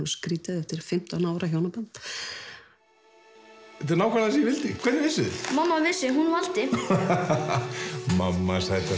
skrítið eftir fimmtán ára hjónaband þetta er nákvæmlega ég vildi hvernig vissuð þið mamma vissi hún vildi mamma sæta